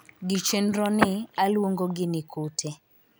gi chenro ni, aluongogi ni kute.